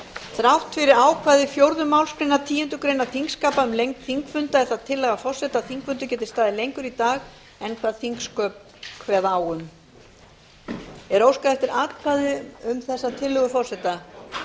þrátt fyrir ákvæði fjórðu málsgreinar tíundu greinar þingskapa um lengd þingfunda er það tillaga forseta að þingfundir geti staðið lengur í dag en þingsköp kveða á um er óskað eftir atkvæði um þessa tillögu forseta